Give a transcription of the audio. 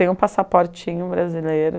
Tem um passaportinho brasileiro.